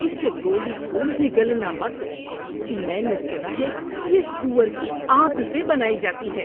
اس گولی کو نگلنا مت۔ میں نے سنا ہے یہ سور کی آنت سے بنائی جاتی ہے۔